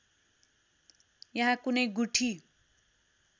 यहाँ कुनै गुठी